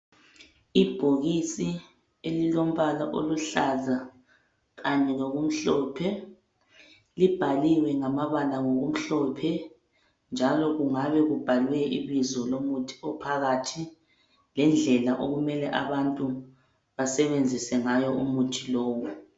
Ibhokisi elilombala oluhlaza, kanye lokumhlophe, libhaliwe lamabala ngokumhlophe, njalo kungabe kubhalwe ibizo lomuthi ophakathi lendlela okumele abantu basebenzise ngayo umuthi lowu.